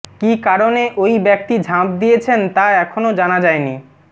কী কারণে ওই ব্যক্তি ঝাঁপ দিয়েছেন তা এখনও জানা যায়নি